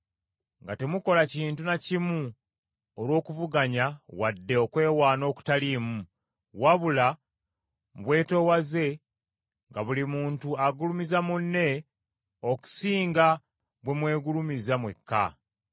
nga temukola kintu na kimu olw’okuvuganya wadde okwewaana okutaliimu, wabula mu bwetoowaze nga buli muntu agulumiza munne okusinga bwe mwegulumiza mwekka,